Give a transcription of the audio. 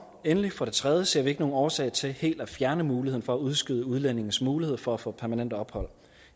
endelig for det tredje ser vi ikke nogen årsag til helt at fjerne muligheden for at udskyde udlændinges mulighed for at få permanent ophold